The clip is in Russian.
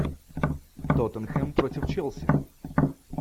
тоттенхэм против челси